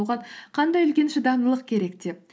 оған қандай үлкен шыдамдылық керек деп